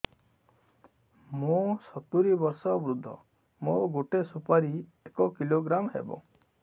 ମୁଁ ସତୂରୀ ବର୍ଷ ବୃଦ୍ଧ ମୋ ଗୋଟେ ସୁପାରି ଏକ କିଲୋଗ୍ରାମ ହେବ